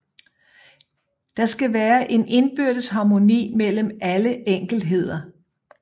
Der skal være en indbyrdes harmoni mellem alle enkeltdele